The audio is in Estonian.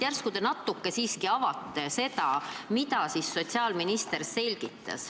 Järsku te natuke siiski avate, mida siis sotsiaalminister selgitas.